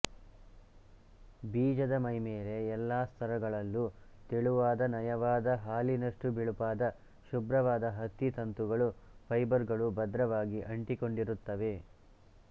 ಬೀಜದ ಮೈಮೇಲೆ ಎಲ್ಲಾ ಸ್ತರಗಳಲ್ಲೂ ತೆಳುವಾದನಯವಾದ ಹಾಲಿನಷ್ಟು ಬಿಳುಪಾದ ಶುಭ್ರವಾದ ಹತ್ತಿ ತಂತುಗಳು ಫೈಬರ್ಗಳು ಭದ್ರವಾಗಿ ಅಂಟಿಕೊಂಡಿರುತ್ತವೆ